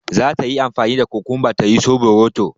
Zata yi amfani da kukunba ta yi soɓoroto